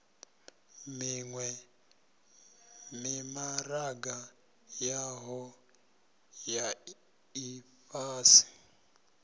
miwe mimaraga yohe ya ifhasi